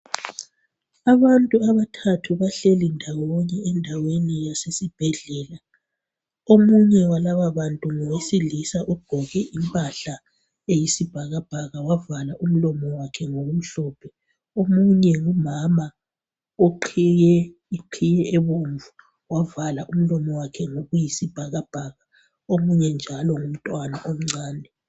Abantu abathathu bahlale ndawonye endaweni yasesibhedlela omunye walaba bantu ngowesilisa ogqoke impahla eyisibhakabhaka wavala umlomo wakhe ngokumhlophe omunye ngumama uqhiye iqhiye ebomvu wavala umlomo wakhe ngokuyisibhakabhaka omunye njalo ngumntwana omncane